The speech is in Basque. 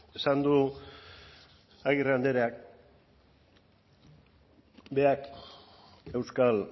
esan du agirre andreak berak euskal